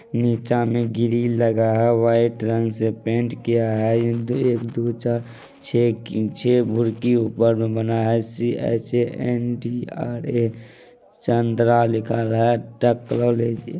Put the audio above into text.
नीचा में ग्रिल लगा है व्हाइट रंग से पेंट किया है एक दू चार छे छै भुरकी ऊपर मे बना है सी_एच_ए_एन_डी_आर_ए रामचन्द्र लिखा गया है।